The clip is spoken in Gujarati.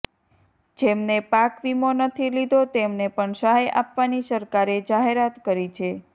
જેમને પાક વીમો નથી લીધો તેમને પણ સહાય આપવાની સરકારે જાહેરાત કરી છે